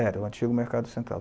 Era o antigo Mercado Central.